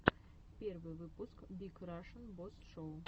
первый выпуск биг рашн босс шоу